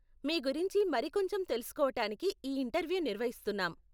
మీ గురించి మరి కొంచెం తెలుసుకోవటానికి ఈ ఇంటర్వ్యూ నిర్వహిస్తున్నాం.